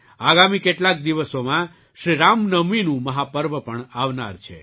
આગામી કેટલાક દિવસોમાં શ્રી રામ નવમીનું મહા પર્વ પણ આવનાર છે